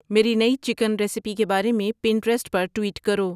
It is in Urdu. میری نئی چکن ریسیپی کے بارے میں پنٹریسٹ پر ٹویٹ کرو